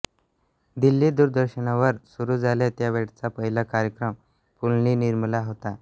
दिल्ली दूरदर्शनवर सुरू झाले त्यावेळचा पहिला कार्यक्रम पुलंनी निर्मिला होता